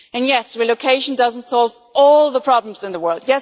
Yes, relocation does not solve all the problems in the world.